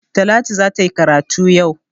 Talatu za ta yi karatu yau.